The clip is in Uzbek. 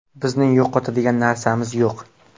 Bizning yo‘qotadigan narsamiz yo‘q.